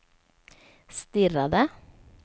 stirrade